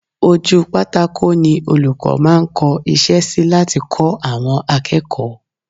Ojú pátákò ni olùkọ́ máa ń kọ́ iṣẹ́ sí láti kọ́ àwọn akẹ́kọ̀ọ́